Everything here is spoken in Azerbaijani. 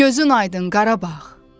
Gözün aydın Qarabağ.